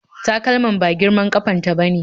Takalman ba girman ƙafa ta ba ne.